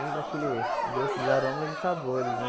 Lembra aquele... Gostos, aromas e sabores, né?